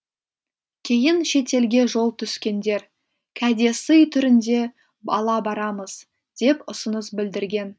кейін шетелге жол түскендер кәдесый түрінде ала барамыз деп ұсыныс білдірген